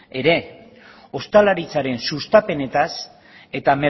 ere ostalaritzaren sustapenaz eta